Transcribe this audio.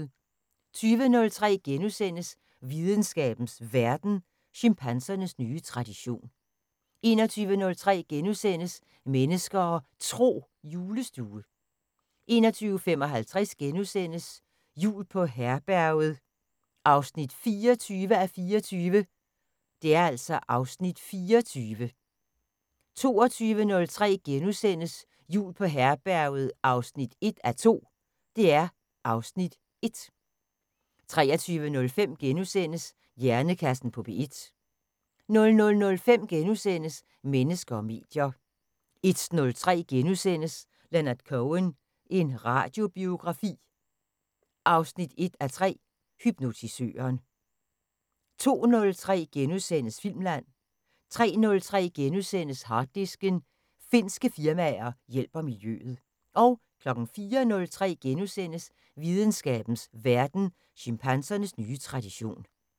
20:03: Videnskabens Verden: Chimpansernes nye tradition * 21:03: Mennesker og Tro: Julestue * 21:55: Jul på Herberget 24:24 (Afs. 24)* 22:03: Jul på Herberget 1:2 (Afs. 1)* 23:05: Hjernekassen på P1 * 00:05: Mennesker og medier * 01:03: Leonard Cohen – en radiobiografi 1:3: Hypnotisøren * 02:03: Filmland * 03:03: Harddisken: Finske firmaer hjælper miljøet * 04:03: Videnskabens Verden: Chimpansernes nye tradition *